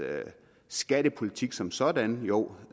skattepolitik som sådan jo